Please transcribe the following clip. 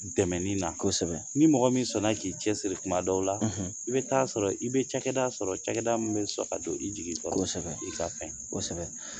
Dɛmɛni na. ni mɔgɔ min sɔnna k'i cɛ siri Kuma dɔw la i bi taa sɔrɔ i bɛ cakɛda sɔrɔ cakɛda min bɛ sɔn ka don i jigi kɔrɔ i ka fɛn. kosɛbɛ